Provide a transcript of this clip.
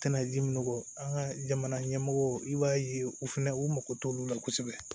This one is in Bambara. Tɛna ji min nɔgɔ an ka jamana ɲɛmɔgɔ i b'a ye u fɛnɛ u mago t'olu la kosɛbɛ